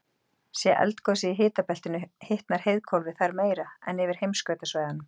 sé eldgosið í hitabeltinu hitnar heiðhvolfið þar meira en yfir heimskautasvæðunum